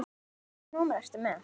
Hvaða númer ertu með?